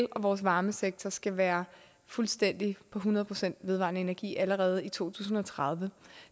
og vores varmesektor skal være fuldstændig på hundrede procent vedvarende energi allerede i to tusind og tredive